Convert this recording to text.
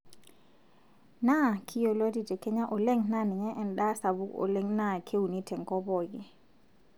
Naaa kiyioloti te Kenya oleng NAA ninye endaa sapuk oleng NAA keuni tenkop pookin